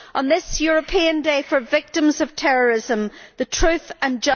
On this European Day for Victims of Terrorism, the truth and